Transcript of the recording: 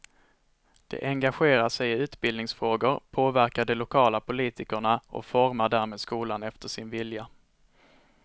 De engagerar sig i utbildningsfrågor, påverkar de lokala politikerna och formar därmed skolan efter sin vilja.